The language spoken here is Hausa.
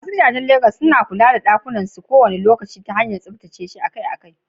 Masu gidajen Legas sukan kula da ɗakunan kwanansu ta hanyar tsaftacewa akai-akai.